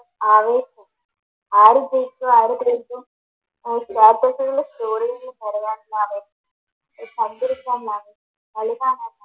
ആര് ജയിക്കും ആര് തോൽക്കും